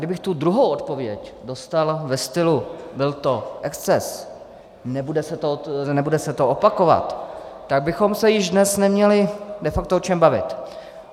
Kdybych tu druhou odpověď dostal ve stylu "byl to exces", nebude se to opakovat, tak bychom se již dnes neměli de facto o čem bavit.